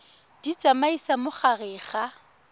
di tsamaisa mo gare ga